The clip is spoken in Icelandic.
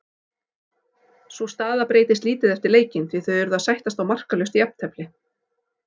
Sú staða breytist lítið eftir leikinn því þau urðu að sættast á markalaust jafntefli.